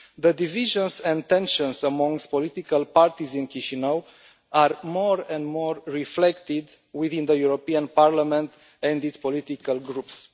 The divisions and tensions amongst political parties in Chişinau are more and more reflected within the European Parliament and its political groups.